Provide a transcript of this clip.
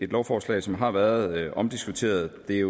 lovforslag som har været omdiskuteret det